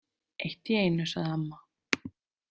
Eitt í einu, sagði amma.